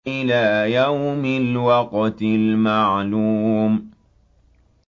إِلَىٰ يَوْمِ الْوَقْتِ الْمَعْلُومِ